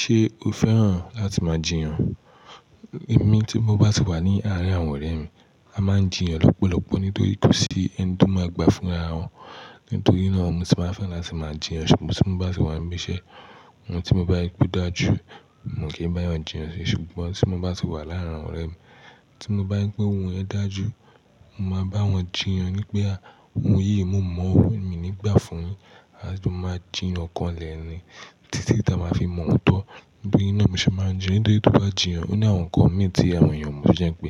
Ṣé o fẹ́ràn láti máa jiyàn? Èmi tí mo bá ti wà ní arin àwọn ọ̀rẹ́ mi, a máa ń jiyàn lọ́pọ̀lọpọ̀ nítorí kò sí ẹni tí ó máa gbà fún ara wọn. Nítorí náà, mo sì máa n fẹ́ láti máa jiyàn ṣùgbọ́n tí mo bá sì wà ní ibi iṣẹ́, ohun tí mo bá rí pé o dáju, mi o kì n bá eyan jiyàn si. Ṣùgbọ́n tí mo bá sì wà láàárín àwọn ọ̀rẹ́ mi, tí mo bá rí pé ohun yẹ̀n dáa ju, mo máa bá wọn jiyàn ní pé, "ohun yìí, mo mọ̀ ọ́, mi nígbà fún yin." A jo máa jiyàn kán lẹ̀ ni títí tí a máa fi mọ̀ ọ́n tan. Nitorina mo ṣe máa ń jiyàn, nítorí tó bá jiyàn, ó ní àwọn nǹkan mìí tí àwọn èèyàn ò mọ̀ to jẹ́ pé,